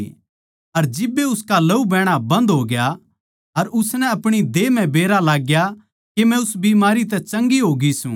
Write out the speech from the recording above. अर जिब्बे उसका लहू बहणा बन्द हो गया अर उसनै आपणे गात तै बेरा लागग्या के मै उस बीमारी तै चंगी होगी सूं